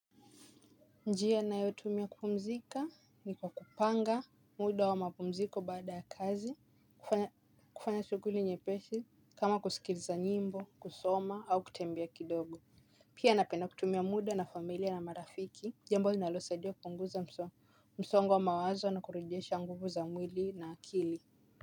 Njia ninayotumia kupumzika ni kwa kupanga muda wa mapumziko baada ya kazi, kufanya shughuli nyepesi kama kusikiliza nyimbo, kusoma au kutembea kidogo. Pia napenda kutumia muda na familia na marafiki, jambo na linalosaidia kupunguza msongo wa mawazo na kurejesha nguvu za mwili na akili.